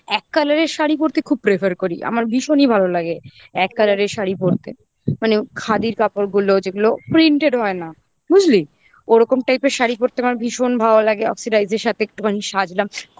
এক colour এর শাড়ি পড়তে খুব prefer করি আমার ভীষণই ভালো লাগে এক colour এর শাড়ি পড়তে মানে খাদির কাপড়গুলো যেগুলো printed হয় না বুঝলি ওরকম type এর শাড়ি পরতে আমার ভীষণ ভালো লাগে oxidise এর সাথে একটুখানি সাজলাম